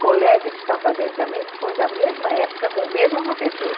colega que está fazendo também, que foi da mesma época com o mesmo professor.